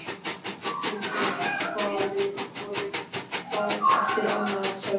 Við þuldum Faðirvorið hvað eftir annað, sagði hún.